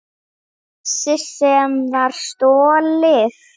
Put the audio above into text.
Þessi sem var stolið!